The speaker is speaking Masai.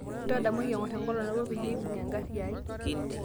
ntadamuaki engor enkolong nabo peyie eipung enkari aai